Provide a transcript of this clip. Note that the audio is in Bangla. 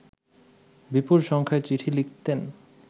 বিপুল সংখ্যায় চিঠি লিখতেন